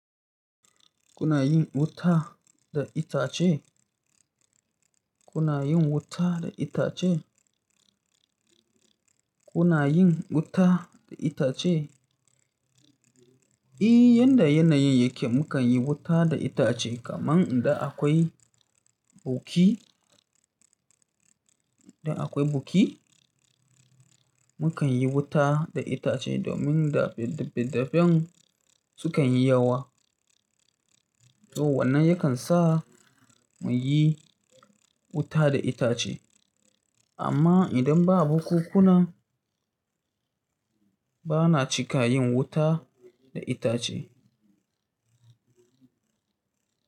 Kuna yin wuta da itace? Kuna yin wuta da itace? Kuna yin wuta da itace? Eeee, yanda yanayin yake mukan yi wuta da itace kamar idan akwai buki, idan akwai buki mukan yi wuta da itace domin da fedda feddafen sukan yi yawa. To wannan yakan sa mu yi wuta da itace. Amma idan ba bukuku na, bana cika yin wuta da itace.